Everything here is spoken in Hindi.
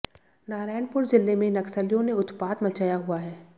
नारायणपुर जिले में नक्सलियों ने उत्पात मचाया हुआ है